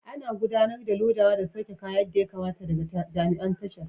Ana gudanar da lodawa da sauke kaya yadda ya kamata daga jami'an tashar.